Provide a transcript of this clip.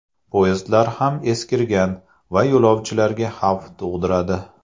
Poyezdlar ham eskirgan va yo‘lovchilarga xavf tug‘diradi.